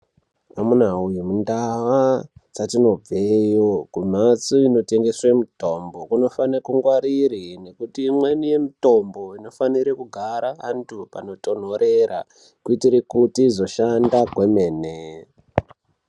Amuna wee mundaa dzetinobveyo kumphatso inotengeswe mutombo kunofanire kungwarire ngekuti imweni yemitombo inofanire kugara panthu panotontorera kuitire kuti izoshanda kwemene.